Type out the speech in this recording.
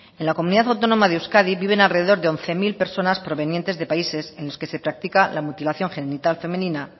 en la comunidad autónoma de euskadi viven alrededor de once mil personas provenientes de países en los que se practica la mutilación genital femenina